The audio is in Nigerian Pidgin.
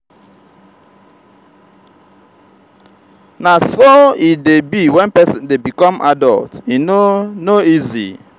na so e dey be wen person dey become adult e no no easy.